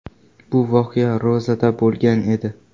Bu voqea ro‘zada bo‘lgan edi.